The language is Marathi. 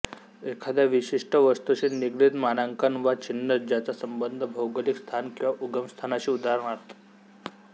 एखाद्या विशिष्ट वस्तूशी निगडीत मानाकंन वा चिन्ह ज्याचा संबंध भौगोलिक स्थान किंवा उगमस्थानाशी उदा